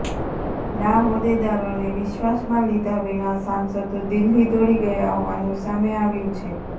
ના હોદ્દેદારોને વિશ્વાસમાં લીધા વિના સાંસદો દિલ્હી દોડી ગયા હોવાનું સામે આવ્યું છે